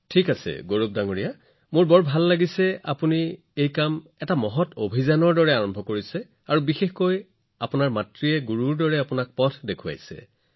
ঠিক আছে গৌৰৱজী মোৰ যথেষ্ট ভাল লাগিছে আৰু আপুনি এই কামটো মিছন মোডত আৰম্ভ কৰিছে আৰু বিশেষকৈ আপোনাৰ মাতৃয়ে আপোনাক এজন ভাল গুৰু হিচাপে এই পথত আগুৱাই লৈ গৈছে